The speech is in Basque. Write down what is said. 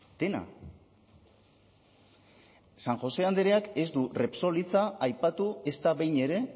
dena san josé andreak ez du repsol hitza aipatu ezta behin ere